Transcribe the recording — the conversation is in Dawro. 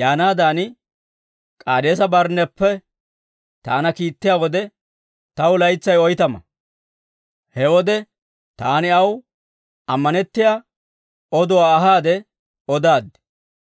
yaanaadan, K'aadeesa-Barnneppe taana kiittiyaa wode, taw laytsay oytama. He wode taani aw ammanettiyaa oduwaa ahaade odaaddi.